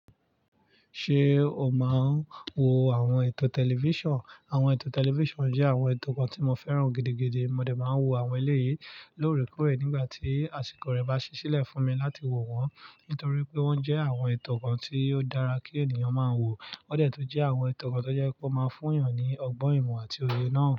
Ṣé o máa ń wo àwọn ètò tẹlifíṣàn? Àwọn ètò tẹlifíṣàn jẹ́ àwọn ètò kan tí mo fẹ́ràn gidigidi, mo dẹ̀ máa n wo àwọn eléyìí lóòrèkóòrè nígbà tí àsìkò rẹ̀ bá ṣi ṣílẹ̀ fún mi láti wo wọ́n, nítorí pé wọ́n jẹ́ àwọn ètò kan tí ó dára kí ènìyàn máa wò, wọ́n dẹ̀ tun jẹ́ àwọn ètò kan tó jẹ́ wipe ó máa fún èèyàn ní ọgbọ́n ìmọ̀ àti òye náà.